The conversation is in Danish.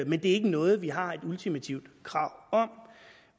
men det er ikke noget vi har et ultimativt krav om